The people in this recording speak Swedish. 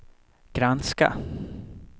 granska